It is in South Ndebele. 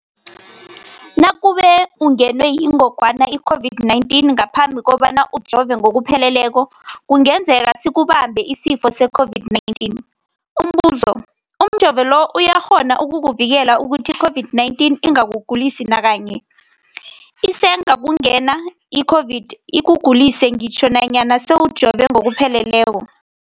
Nakube ungenwe yingogwana i-COVID-19 ngaphambi kobana ujove ngokupheleleko, kungenzeka sikubambe isifo se-COVID-19. Umbuzo, umjovo lo uyakghona ukukuvikela ukuthi i-COVID-19 ingakugulisi nakanye? Isengakungena i-COVID-19 ikugulise ngitjho nanyana sewujove ngokupheleleko.